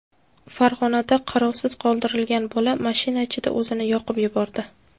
Farg‘onada qarovsiz qoldirilgan bola mashina ichida o‘zini yoqib yubordi.